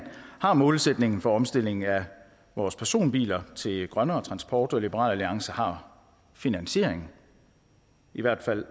har målsætningen for omstillingen af vores personbiler til grønnere transport og liberal alliance har finansiering i hvert fald